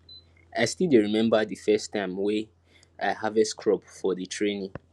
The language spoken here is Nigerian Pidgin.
i still dey remember di first time wey i harvest crop for di training